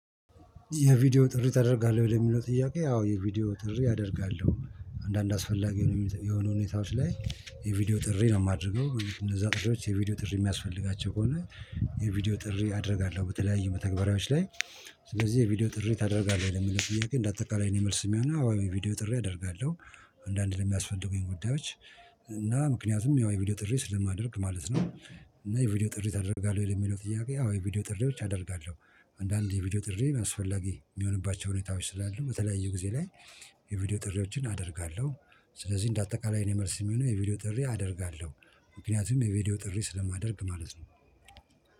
የቪዲዮ ጥሪ ታደርጋለህ? ወይ ለሚለው ጥያቄ አዎ የቪዲዮ ጥሪ አደርጋለሁ አንዳንድ አስፈላጊ የሆኑ ሁኔታዎች ላይ የቪዲዮ ጥሪ ነው የማደርገው እነዛ ጥሪዎች የቪዲዮ ጥሪ የሚያስፈልጋቸው ከሆነ የቪዲዮ ጥሪ አደርጋለሁ በተለያየ መተግበሪያዎች ላይ ስለዚህ የቪዲዮ ጥሪ ታደርጋለህ ለሚለው ጥያቄ እንደ አጠቃላይ ነው የኔ መልስ የሚሆነው አዎ የቪዲዮ ጥሪ አደርጋለሁ። አንዳንድ ለሚያስፈልጉኝ ጉዳዮች እና ምክንያቱም ያው የቪዲዮ ጥሪ ስለማደርግ ማለት ነው። እና የቪዲዮ ጥሪ ታደርጋለህ ወይ ለሚለው ጥያቄ? አዎ የቪዲዮ ጥሪዎች አደርጋለሁ አንዳንዴ የቪዲዮ ጥሪ አስፈላጊ የሚሆንባቸው ሁኔታዎች ስላሉ በተለያዩ ጊዜ ላይ የቪዲዮ ጥሪዎችን አደርጋለሁ። ስለዚህ እንደ አጠቃላይ የእኔ መልስ የሚሆነው የቪዲዮ ጥሪ አደርጋለሁ ምክንያቱም የቪዲዮ ጥሪ ስለማደርግ ማለት ነው